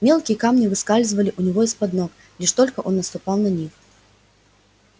мелкие камни выскальзывали у него из под ног лишь только он наступал на них